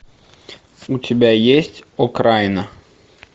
у тебя есть окраина